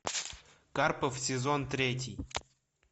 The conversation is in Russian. карпов сезон третий